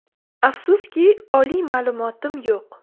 Afsuski, oliy ma’lumotim yo‘q.